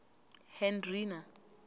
hendrina